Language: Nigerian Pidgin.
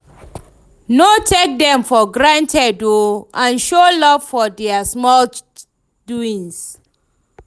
No take dem for granted o and show luv for dia small doings